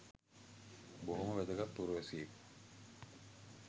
බොහොම වැදගත් පුරවැසියෙක්